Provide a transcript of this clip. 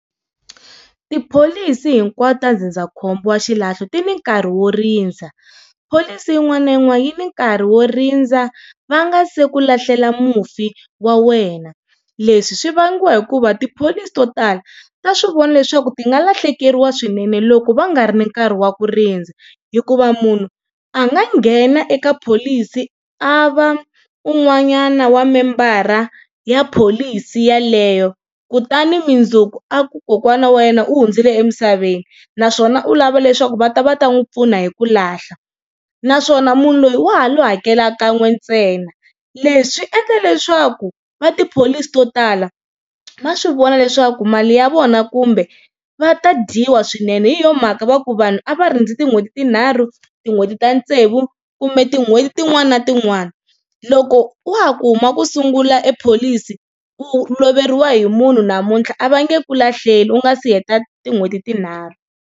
Tipholisi hinkwato ta ndzindzakhombo wa xilahlo ti ni nkarhi wo rindza pholisi yin'wana na yin'wana yi ni nkarhi wo rindza va nga se ku lahlela mufi wa wena leswi swi vangiwa hikuva tipholisi to tala ta swi vona leswaku ti nga lahlekeriwa swinene loko va nga ri nkarhi wa ku rindza hikuva munhu a nga nghena eka pholisi a va un'wanyana wa member-ra ya pholisi yeleyo kutani mundzuku a ku kokwana wa yena u hundzile emisaveni naswona u lava leswaku va ta va ta n'wi pfuna hi ku lahla. Naswona munhu loyi wa ha lo hakelaka kan'we ntsena leswi swi endla leswaku va tipholisi to tala va swi vona leswaku mali ya vona kumbe va ta dyiwa swinene hi yona mhaka va ku vanhu a va rindzi tin'hweti tinharhu, tin'hweti ta tsevu kumbe tin'hweti tin'wani na tin'wani loko wa ha ku huma ku sungula pholisi u loveriwa hi munhu namuntlha a va nge ku lahleli u nga si heta tin'hweti tinharhu.